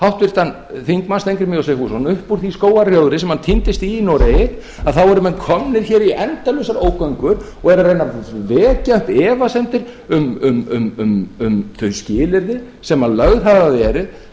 háttvirtur þingmaður steingrím j sigfússon upp úr því skógarrjóðri sem hann týndist í í noregi að þá eru menn komnir hér í endalausar ógöngur og eru að reyna að vekja upp efasemdir um þau skilyrði sem lögð